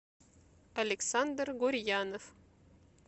александр гурьянов